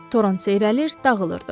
Toran seyrəlir, dağılırdı.